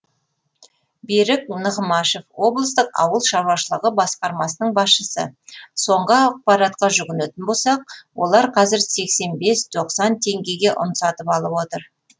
берік нығмашев облыстық ауыл шаруашылығы басқармасының басшысы соңғы ақпаратқа жүгінетін болсақ олар қазір сексен бес тоқсан теңгеге ұн сатып алып отыр